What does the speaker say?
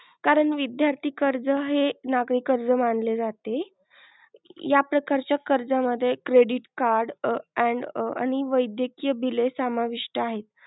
कारण विद्यार्थी कर्ज आहे नागरीक कर्ज मानले जाते. या प्रकारच्या कर्जामध्ये credit card and आणि वैद्यकीय बिले सामाविस्ट आहेत.